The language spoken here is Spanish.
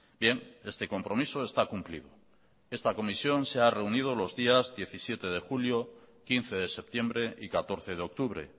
bien este compromiso está cumplido esta comisión se ha reunido los días diecisiete de julio quince de septiembre y catorce de octubre